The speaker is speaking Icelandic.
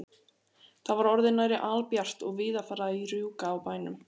Það var orðið nærri albjart og víða farið að rjúka á bæjum.